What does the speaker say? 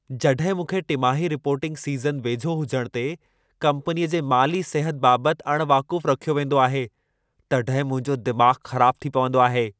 जॾहिं मूंखे टिमाही रिपोर्टिंग सीज़न वेझो हुजण ते कंपनीअ जे माली सिहत बाबति अण वाक़ुफ़ रखियो वेंदो आहे, तॾहिं मुंहिंजो दिमाग़ ख़राबु थी पवंदो आहे।